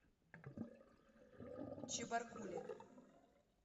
чебаркуле